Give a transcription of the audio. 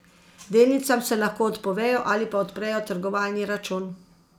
Delnicam se lahko odpovejo ali pa odprejo trgovalni račun.